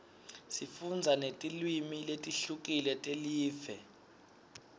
sifundza netilwimi letihlukile telive